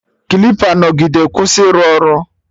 Klipa nọgide kwụsị ịrụ ọrụ